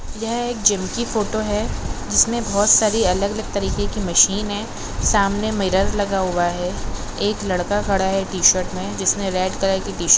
यह एक जिम की फोटो है। जिसमे बोहुत सारे अलग अलग तरीके की मशीन है। सामने मिरर लगा हुआ है। एक लड़का खड़ा है। टीशर्ट मे जिसने रेड कलर की टीशर्ट --